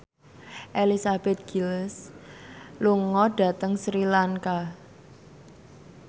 Elizabeth Gillies lunga dhateng Sri Lanka